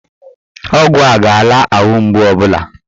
Ọgwụ a ga-ala ahụ mgbu ọbụla